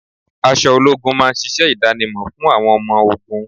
Aṣọ ológun máa ń ṣíṣe idanimo fún àwọn ọmọ ogún.